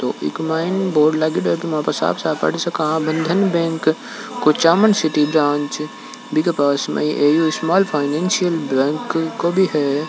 ईम में बोर्ड लगियो है इनमे साफ़ साफ़ Bandhan bank Kuchaman city branch बी पास में ये ए.यू फाइनेंसियल बेंक भी है।